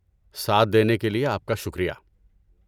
ساتھ دینے کے لیے آپ کا شکریہ۔